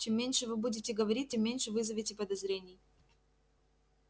чем меньше вы будете говорить тем меньше вызовете подозрений